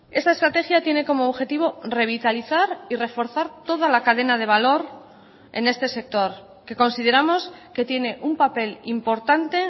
esta estrategia tiene como objetivo revitalizar y reforzar toda la cadena de valor en este sector que consideramos que tiene un papel importante